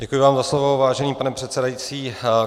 Děkuji vám za slovo, vážený pane předsedající.